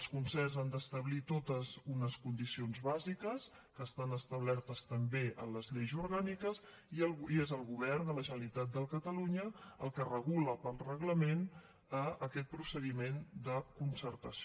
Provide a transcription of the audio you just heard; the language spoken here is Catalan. els concerts han d’establir totes unes condicions bàsiques que estan establertes també en les lleis orgàniques i és el govern de la generalitat de catalunya el que regula per reglament aquest procediment de concertació